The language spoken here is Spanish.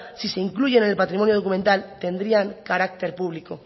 si se incluyen en el patrimonio documental tendrían carácter público